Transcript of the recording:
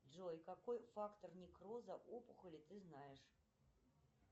джой какой фактор некроза опухоли ты знаешь